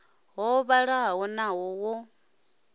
ho vhalaho naho ho ḓi